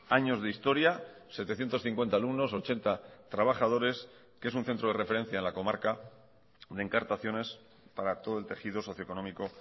años de historia setecientos cincuenta alumnos ochenta trabajadores que es un centro de referencia en la comarca de encartaciones para todo el tejido socio económico